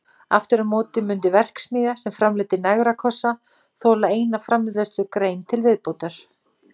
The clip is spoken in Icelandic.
Aftur á móti mundi verksmiðja sem framleiddi negrakossa þola eina framleiðslugrein til viðbótar.